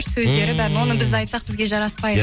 сөздері бәрін оны біз айтсақ бізге жараспайды